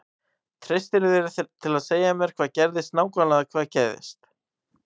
Treystirðu þér til að segja mér hvað gerðist nákvæmlega hvað gerðist?